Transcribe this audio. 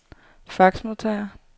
faxmodtager